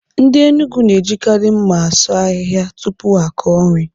Ndị Enugwu na ejikari mma asụ ahịhịa tupuu ha akọọ nri.